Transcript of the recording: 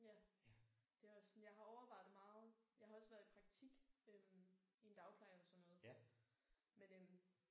Ja Det er også sådan jeg har overvejet det meget. Jeg har også været i praktik øh i en dagpleje og sådan noget men øh